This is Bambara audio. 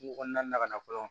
Kungo kɔnɔna na ka na fɔlɔ